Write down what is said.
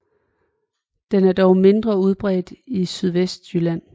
Den er dog mindre udbredt i Sydvestjylland